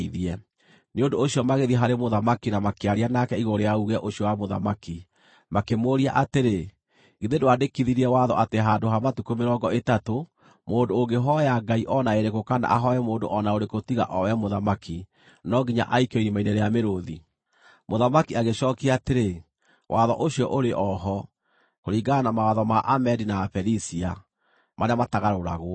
Nĩ ũndũ ũcio magĩthiĩ harĩ mũthamaki na makĩaria nake igũrũ rĩa uuge ũcio wa mũthamaki: Makĩmũũria atĩrĩ, “Githĩ ndwandĩkithirie watho atĩ handũ ha matukũ mĩrongo ĩtatũ, mũndũ ũngĩhooya ngai o na ĩrĩkũ kana ahooe mũndũ o na ũrĩkũ tiga o we mũthamaki, no nginya aikio irima-inĩ rĩa mĩrũũthi?” Mũthamaki agĩcookia atĩrĩ, “Watho ũcio ũrĩ o ho, kũringana na mawatho ma Amedi na Aperisia, marĩa matagarũragwo.”